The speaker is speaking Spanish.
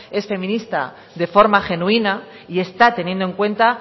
es feminista de forma genuina y está teniendo en cuenta